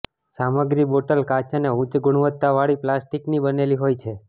સામગ્રી બોટલ કાચ અને ઉચ્ચ ગુણવત્તાવાળી પ્લાસ્ટિકની બનેલી હોય છે